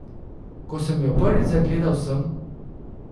Ko sem jo prvič zagledal, sem ...